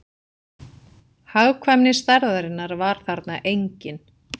Hagkvæmni stærðarinnar var þarna engin